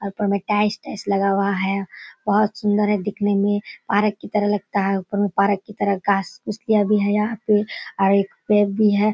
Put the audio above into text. ऊपर मे tiles tiles लगा हुआ है। बोहोत सुंदर है दिखने मे। पारक की तरफ लगता ह ऊपर में पारक की तरह भी है यहाँ पे और एक पेड़ भी है |